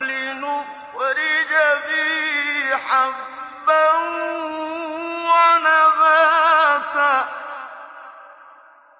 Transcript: لِّنُخْرِجَ بِهِ حَبًّا وَنَبَاتًا